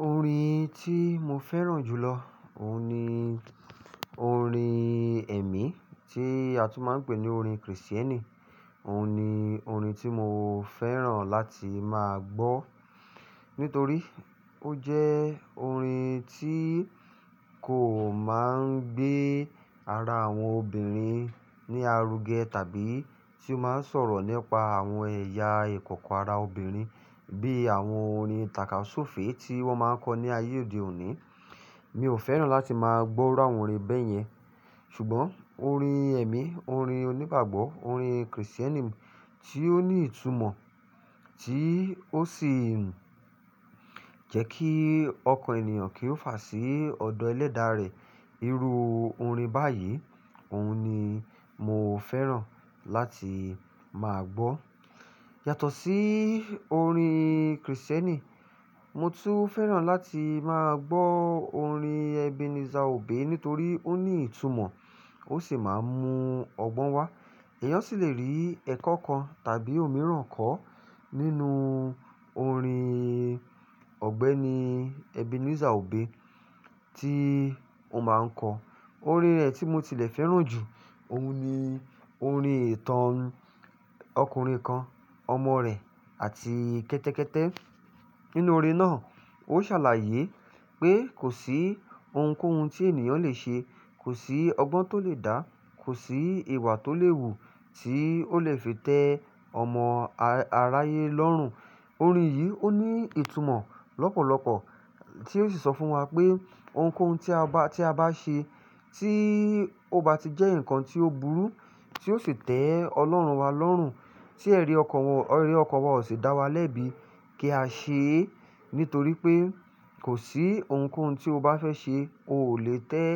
Orin tí mo fẹ́ràn jù lọ, òun ni orin ẹ̀mí tí a tún máa ń pè ní orin Kristẹni. Òun ni orin tí mo fẹ́ràn láti máa gbọ́, nítorí ó jẹ́ orin tí kò máa ń gbé ara àwọn obìnrin ní aruge tàbí tí ó máa ń sọ̀rọ̀ nípa àwọn ẹ̀yà ìkọ̀kọ̀ ara obìnrin bí àwọn orin tàka sufe tí wọ́n máa ń kọ ní ayé òde òní. Mi ò fẹ́ràn láti máa gbọ́ irú àwọn orin bẹ́yẹn. Ṣùgbọ́n orin ẹ̀mí, orin onígbàgbọ́, orin Kristẹni tí ó ní ìtumọ̀, tí ó sì jẹ́ kí ọkàn ènìyàn kí ó fà sí ọ̀dọ̀ ẹlẹ́dàá rẹ̀. Irú orin báyìí, òun ni mo fẹ́ràn láti máa gbọ́. Yàtọ̀ sí orin Kristẹni, mo tún fẹ́ràn láti máa gbọ́ orin Ebenezer Obey nítorí ó ní ìtumọ̀, ó sì máa ń mu ọgbọ́n wá. Eyán sì lè rí ẹ̀kọ́ kan tàbí òmíràn kọ́ nínú orin Ọ̀gbẹ́ni Ebenezer Obey tí ó máa ń kọ. Orin rẹ̀ tí mo tilẹ̀ fẹ́ràn jù, òun ni orin ìtàn ọkùnrin kan, ọmọ rẹ̀ àti kẹ́tẹ́kẹ́tẹ́. Nínú orin náà, ó ṣàlàyé pé kò sí ohunkóhun tí ènìyàn le ṣe, kò sí ọgbọ́n tó lè dá, kò sí ìwà tó lè wù tí ó lè fi tẹ ọmọ aráyé lọ́rùn. Orin yìí ó ní ìtumọ̀ lọ́pọ̀lọpọ̀ tí ó sì sọ fún wa pé ohunkóhun tí a bá, tí a bá ṣe tí ó bá ti jẹ́ nǹkan tí ó burú tí ó sì tẹ́ ọlọ́run wa lọ́rùn, tí ẹrí ọkan wa, ẹrí ọkan wa ò sì dá wa lẹ́bi, kí a ṣe é. Nítorí pé kò sí ohunkóhun tí o bá fẹ́ ṣe, o ò lè tẹ́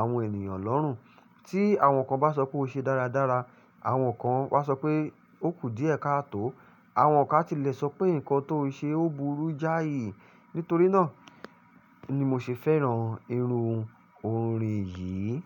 àwọn ènìyàn lọ́rùn. Tí àwọn kan bá sọ pé o ṣe dáradára, àwọn kan wá sọ pé ó kù díẹ̀ ká tó, àwọn kan a tí lẹ sọ pé nǹkan tó ṣe ó burú jáì. Nítorí náà ni mo ṣe fẹ́ràn irú orin yìí.